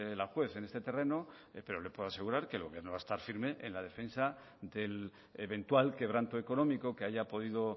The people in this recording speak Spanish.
la juez en este terreno pero le puedo asegurar que el gobierno va a estar firma en la defensa del eventual quebranto económico que haya podido